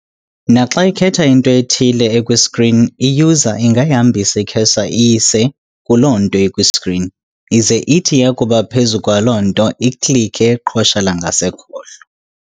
Naxa ikhetha into ethile ekwi-screen, i-user ingayihambisa i-cursor iyise kuloo nto ikwi-screen, ize ithi yakuba phezu kwaloo nto "iklikhe" iqhosha langasekhohlo.